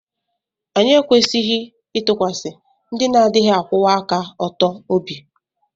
Anyị ekwesịghị ịtụkwasị ndị na-adịghị akwụwa aka ọtọ obi